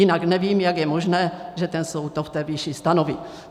Jinak nevím, jak je možné, že ten soud to v té výši stanoví.